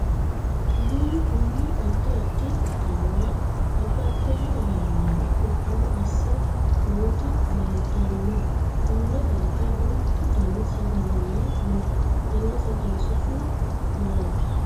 Amuuwu kunni addi addi qixaawora babbaxino ayaannara qixaawo ase nooti leeltano konne darga duuchu Danni sagalenna no tenne sagale su'mi maati?